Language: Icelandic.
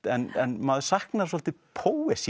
en maður saknar svolítið